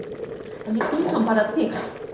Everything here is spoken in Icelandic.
En ég bý hann bara til